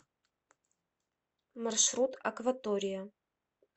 маршрут акватория